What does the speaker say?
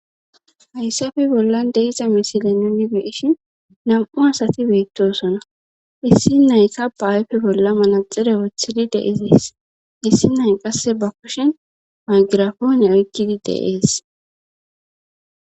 hayssafe bollan de'iza misile nuni be'ishin nam7u asati beettosona issi nayka ba ayfe bolla manaxire woththidi deizees issi nay qasse ba kushen maygirafoone oykkidi de'ees